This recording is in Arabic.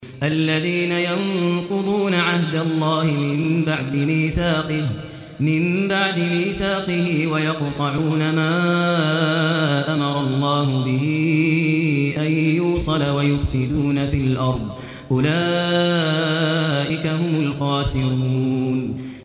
الَّذِينَ يَنقُضُونَ عَهْدَ اللَّهِ مِن بَعْدِ مِيثَاقِهِ وَيَقْطَعُونَ مَا أَمَرَ اللَّهُ بِهِ أَن يُوصَلَ وَيُفْسِدُونَ فِي الْأَرْضِ ۚ أُولَٰئِكَ هُمُ الْخَاسِرُونَ